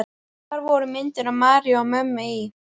Þar voru myndir af Maríu og mömmu í